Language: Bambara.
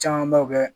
Camanbaw bɛ